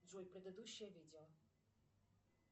джой предыдущее видео